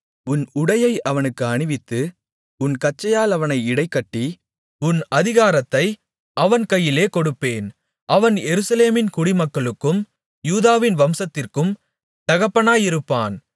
உன் உடையை அவனுக்கு அணிவித்து உன் கச்சையால் அவனை இடைக்கட்டி உன் அதிகாரத்தை அவன் கையிலே கொடுப்பேன் அவன் எருசலேமின் குடிமக்களுக்கும் யூதாவின் வம்சத்திற்கும் தகப்பனாயிருப்பான்